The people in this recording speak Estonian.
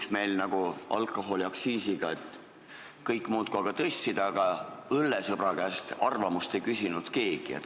Et meil ei juhtuks nagu alkoholiaktsiisiga: kõik muudkui tõstsid, aga õllesõbra arvamust ei küsinud keegi.